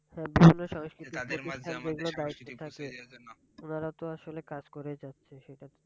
হ্যাঁ বিভিন্ন উনারা তো আসলে কাজ করেই যাচ্ছে সেটা